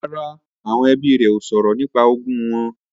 Rárá, àwọn ẹbí rẹ ó sọ̀rọ̀ nípa ogún wọn